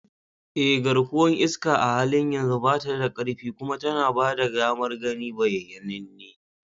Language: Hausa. Eh, garkuwar iska a halin yanzu ba ta da ƙarfi kuma tana ba da damar gani bayyananne.